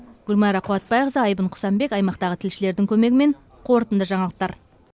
гүлмайра қуатбайқызы айбын құсанбек аймақтағы тілшілердің көмегімен қорытынды жаңалықтар